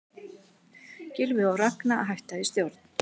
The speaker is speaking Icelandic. Gylfi og Ragna hætta í stjórn